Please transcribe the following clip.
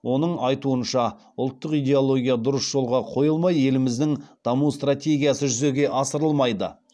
оның айтуынша ұлттық идеология дұрыс жолға қойылмай еліміздің даму стратегиясы жүзеге асырылмайды